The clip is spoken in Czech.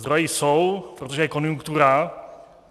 Zdroje jsou, protože je konjunktura.